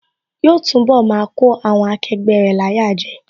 Yóò túnbọ̀ máa kó àwọn akẹgbẹ́ rẹ̀ láyà jẹ